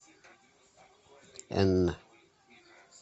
энн